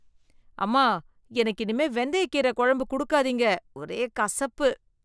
அம்மா எனக்கு இனிமே வெந்தயக்கீரை குழம்பு குடுக்காதீங்க, ஒரே கசப்பு.